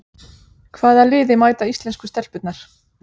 Hvaða liði mæta íslensku stelpurnar?